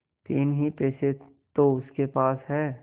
तीन ही पैसे तो उसके पास हैं